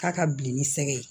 K'a ka bilen ni sɛgɛ ye